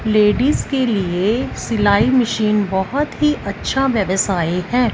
Ladies के लिए सिलाई मशीन बहोत ही अच्छा व्यवसाय है।